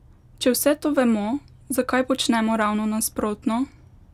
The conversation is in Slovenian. Če vse to vemo, zakaj počnemo ravno nasprotno?